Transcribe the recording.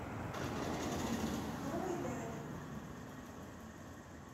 новой ляле